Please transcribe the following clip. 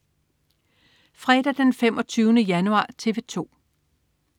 Fredag den 25. januar - TV 2: